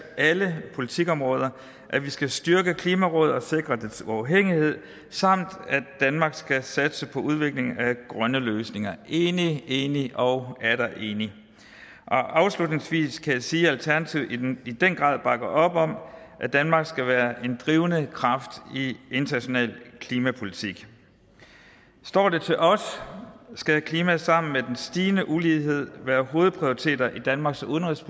alle politikområder at vi skal styrke klimarådet og sikre dets uafhængighed samt at danmark skal satse på udvikling af grønne løsninger enig enig og atter enig og afslutningsvis kan jeg sige at alternativet i den i den grad bakker op om at danmark skal være en drivende kraft i international klimapolitik står det til os skal klima sammen med den stigende ulighed være hovedprioriteter i danmarks udenrigs